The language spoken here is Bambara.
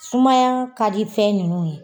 Sumaya ka di fɛn nunnu ye.